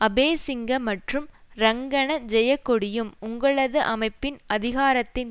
அபேசிங்க மற்றும் ரங்கன ஜெயக்கொடியும் உங்களது அமைப்பின் அதிகாரத்தின்